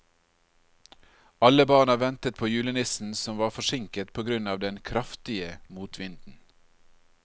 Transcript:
Alle barna ventet på julenissen, som var forsinket på grunn av den kraftige motvinden.